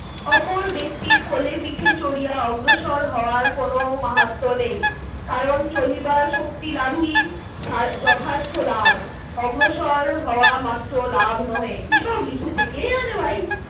ওপর ব্যক্তির কোলে পিঠে চড়িয়া অগ্রসর হওয়ার কোনো মাহাত্য নেই। কারণ চলিবার শক্তি লাভ ই যথার্থ লাভ। অগ্রসর হওয়া মাত্র লাভ নহে। কিসব লিখেছে কে জানে ভাই।